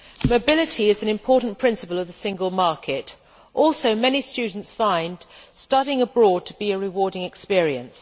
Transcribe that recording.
Madam President, mobility is an important principle of the single market. Also, many students find studying abroad to be a rewarding experience.